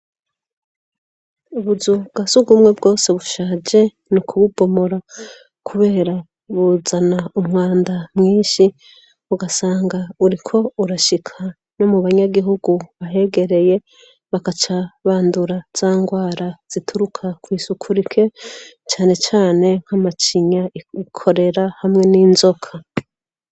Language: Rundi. Ubuzu bwa sugumwe bwose bushaje ni ukububomora kubera buzana umwanda mwishi, ugasanga uriko urashika no mu banyagihugu bahegereye, bagaca bandura za ngwara zituruka kw'isuku rike, cane cane nk'amacinya, korera hamwe n'inzoka.